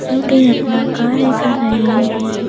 जो कि अपना कार्य कर रहे हैं।